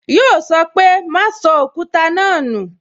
Yọ sọ pé "Ma sọ Òkúta náà nu